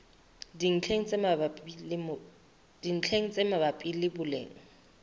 dintlheng tse mabapi le boleng